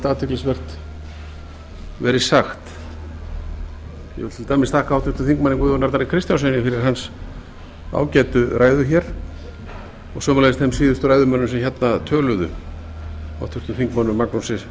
athyglisvert verið sagt ég vil til dæmis þakka háttvirtum þingmanni guðjóni arnari kristjánssyni fyrir hans ágætu ræðu hér og sömuleiðis þeim síðustu ræðumönnum sem hérna töluðu háttvirtur þingmaður magnúsi